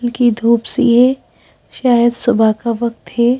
बल्कि धूप सी है शाय़द सुबह का वक्त है।